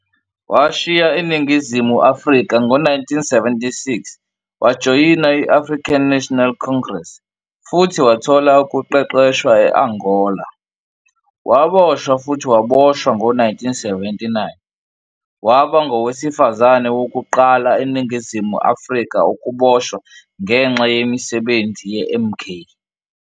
Washiya iNingizimu Afrika ngo-1976 wajoyina i- African National Congress futhi wathola ukuqeqeshwa e-Angola. Waboshwa futhi waboshwa ngo-1979, waba ngowesifazane wokuqala eNingizimu Afrika ukuboshwa ngenxa yemisebenzi ye-MK.